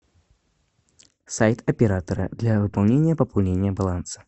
сайт оператора для выполнения пополнения баланса